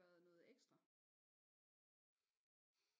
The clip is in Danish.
Været noget ekstra